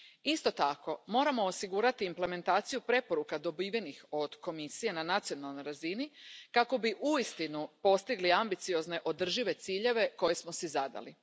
Isto tako, moramo osigurati implementaciju preporuka dobivenih od Komisije na nacionalnoj razini kako bi uistinu postigli ambiciozne održive ciljeve koje smo si zadali.